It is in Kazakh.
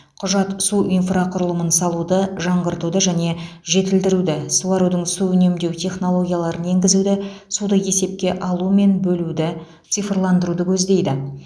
құжат су инфрақұрылымын салуды жаңғыртуды және жетілдіруді суарудың су үнемдеу технологияларын енгізуді суды есепке алу мен бөлуді цифрландыруды көздейді